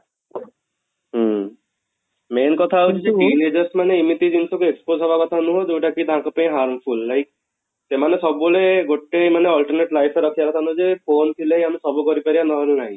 ହୁଁ main କଥା ହଉଛି ଯେ team leaders ମାନେ ଏମିତି ଜିନିଷ କୁ expose ହବା କଥା ନୁହଁ ଯଉଟା କି ତାଙ୍କ ପାଇଁ harmful like ସେମାନେ ସବୁବେଳେ ଗୋଟେ ମାନେ alternate life ରେ ରଖିବା କଥା ନୁହଁ ଯେ phone ଥିଲେ ଆମେ ସବୁ କରିପରିବା ନହେଲେ ନାଇଁ